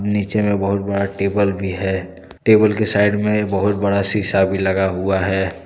नीचे में बहुत बड़ा टेबल भी है टेबल के साइड में एक बहुत बड़ा शीशा भी लगा हुआ है।